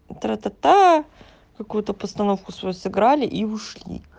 тратата какую-то постановку свою сыграли и ушли